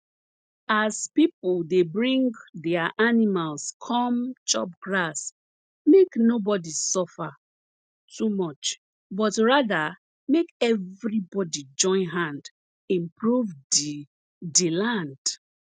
as pipo dey bring dia animals come chop grass make nobody suffer too much but rather make everybody join hand improve di di land